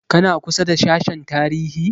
Kana kusa da sashen tarihi?